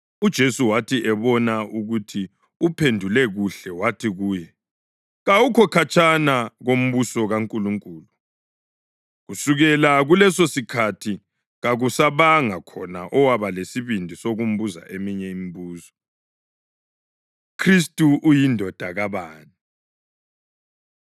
UJesu wathi ebona ukuthi uphendule kuhle wathi kuye, “Kawukho khatshana kombuso kaNkulunkulu.” Kusukela kulesosikhathi kakusabanga khona owaba lesibindi sokumbuza eminye imibuzo. UKhristu UyiNdodana Kabani